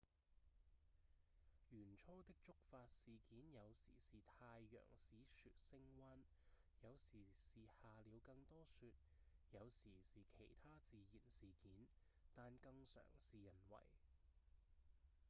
原初的觸發事件有時是太陽使雪升溫有時是下了更多雪有時是其它自然事件但更常是人為